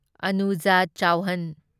Anuja Chauhan